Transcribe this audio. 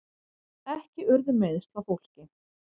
Ekki urðu meiðsl á fólki